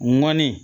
Ŋɔni